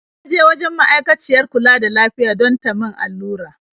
Na je wajen ma'aikaciyar kula da lafiya don ta min allura.